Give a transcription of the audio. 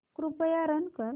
कृपया रन कर